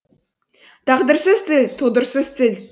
тағдырсыз тіл тұлдырсыз тіл